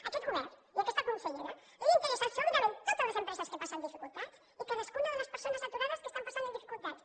a aquest govern i a aquesta consellera els interessen absolutament totes les empreses que passen dificultats i cadascuna de les persones aturades que estan passant dificultats